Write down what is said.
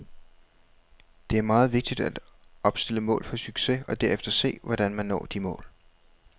Det er meget vigtigt at opstille mål for succes og derefter se, hvordan vi når de mål.